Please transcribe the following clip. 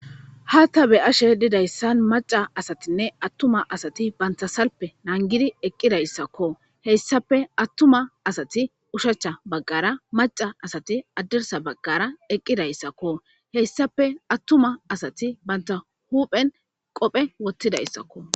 Ha ta be7ash e didayssan macca asatinne attuma asti bantta salfe nanggidi eqqidayssako Hessappe attuma asati ushshacha baggara macca asati hadirssa baggara eqqidayssakko. Hessappe attuma asati bantta huuphen qophe wotidayssakko.